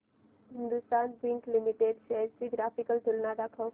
Hindustan zinc limited shares ची graphical तुलना दाखव